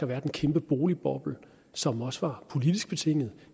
været en kæmpe boligboble som også var politisk betinget